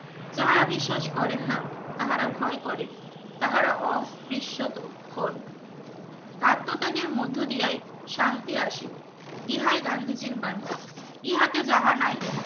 যাহারা বিশ্বাস করেন না তাহারা ভয় করে তাহারা অস্থিত হন আত্মত্যাগের মধ্যদিয়াই শান্তি আসিবে গান্ধীজীর বাণী ইহাতে যাহা নাই